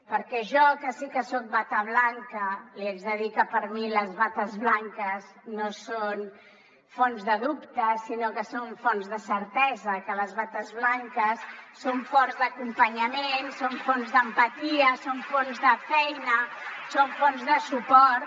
perquè jo que sí que soc bata blanca li haig de dir que per mi les bates blanques no són fonts de dubte sinó que són fonts de certesa que les bates blanques són fonts d’acompanyament són fonts d’empatia són fonts de feina són fonts de suport